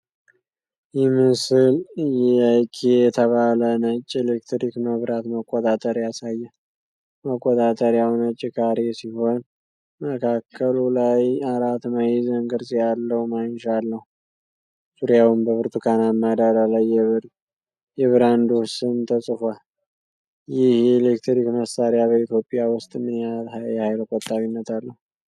ይህ ምስል የ"EIKA" የተባለ ነጭ የኤሌክትሪክ መብራት መቆጣጠሪያ ያሳያል። መቆጣጠሪያው ነጭ ካሬ ሲሆን፣ መካከሉ ላይ አራት ማዕዘን ቅርጽ ያለው ማንሻ አለው፤ ዙሪያውን በብርቱካናማ ዳራ ላይ የብራንዱ ስም ተጽፏል። ይህ የኤሌክትሪክ መሣሪያ በኢትዮጵያ ውስጥ ምን ያህል የኃይል ቆጣቢነት አለው